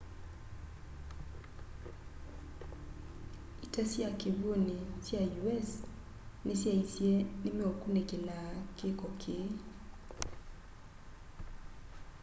ita sya kiwuni sya us ni syaisye ni meukunikilaa kiko kii